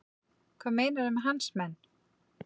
Hvað meinarðu með hans menn?